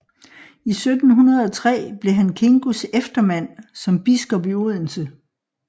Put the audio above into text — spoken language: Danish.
I 1703 blev han Kingos eftermand som biskop i Odense